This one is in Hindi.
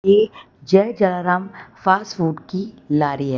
ये जय जलाराम फास्ट फूड लारी है।